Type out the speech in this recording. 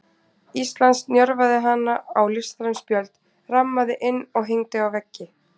Íslands, njörvaði hana á listræn spjöld, rammaði inn og hengdi á veggi.